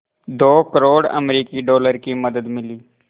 दो करोड़ अमरिकी डॉलर की मदद मिली